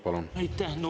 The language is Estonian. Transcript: Palun!